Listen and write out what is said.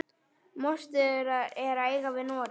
Mostur er eyja við Noreg.